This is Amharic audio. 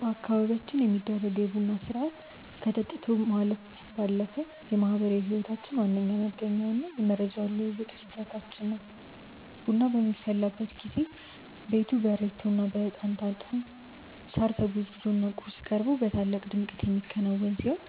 በአካባቢያችን የሚደረገው የቡና ሥርዓት ከጠጥቶ ማለፍ ባለፈ የማኅበራዊ ሕይወታችን ዋነኛ መገኛውና የመረጃ ልውውጥ መድረካችን ነው። ቡናው በሚፈላበት ጊዜ ቤቱ በሬቶና በዕጣን ታጥኖ፣ ሳር ተጎዝጉዞና ቁርስ ቀርቦ በታላቅ ድምቀት የሚከናወን ሲሆን፣